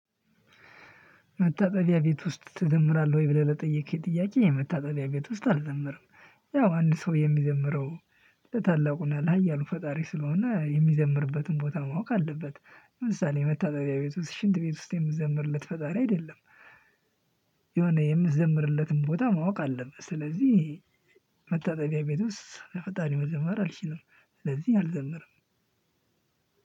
መታጠቢያ ቤት ውስጥ ትዘምራለህ ወይ? ብለህ ለጠየከኝ ጥያቄ መታጠቢያ ቤት ውስጥ አልዘምርም። ያው አንድ ሰው የሚዘምረው ለታላቁ እና ለሀያሉ ፈጣሪ ስለሆነ የሚዘምርበትን ቦታ ማወቅ አለበት። ለምሳሌ መታጠብያ ቤት ውስጥ ሽንት ቤት ውስጥ የምዘምርለት ፈጣሪ አይደለም። የሆነ የምዘምርለትን ቦታ ማወቅ አለብህ። ስለዚህ መታጠቢያ ቤት ውስጥ ለፈጣሪ መዘመር አልችልም። ስለዚህ አልዘምርም።